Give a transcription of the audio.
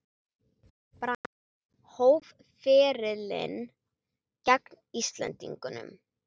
Brand hóf ferilinn gegn Íslendingum